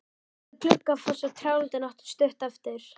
Við Gluggafoss og trjálundinn áttu stutt eftir.